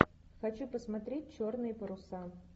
хочу посмотреть черные паруса